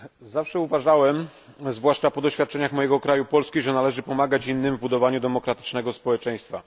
Zawsze uważałem, zwłaszcza po doświadczeniach mojego kraju, Polski, że należy pomagać innym w budowaniu demokratycznego społeczeństwa.